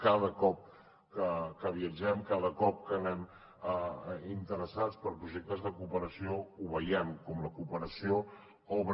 cada cop que viatgem cada cop que anem interessats per projectes de cooperació ho veiem com la cooperació obre